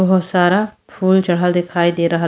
बहुत सारा फूल चढ़ल दिखाई दे रहल --